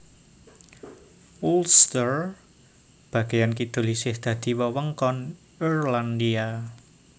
Ulster bagéyan kidul isih dadi wewengkon Irlandia